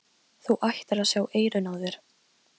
Þú ættir að sjá eyrun á þér!